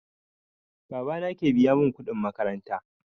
Baba na ke biya mun kuɗin makaranta